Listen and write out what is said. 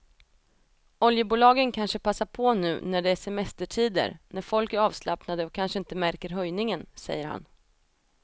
Oljebolagen kanske passar på nu när det är semestertider när folk är avslappnade och kanske inte märker höjningen, säger han.